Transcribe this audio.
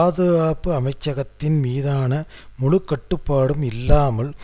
விடுவிக்கப்படும் கோரிக்கைகளை திசைதிருப்புவதற்கு